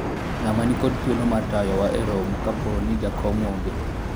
ng'ama nikod thuolo mar tayo wa e romo kapo ni jakom onge